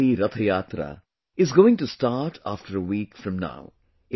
The holy Rath Yatra is going to start after a week from now